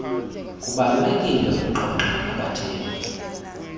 kubalulekile ukuxoxa nabathengi